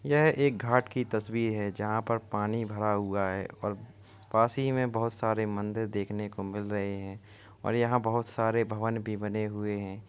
यह एक घाट की तस्वीर है। जहाॅं पर पानी भरा हुआ हैं और पास ही में बहोत सारें मंदिर देखने को मिल रहे हैं और यहाँ बहोत सारे भवन बने हुए हैं।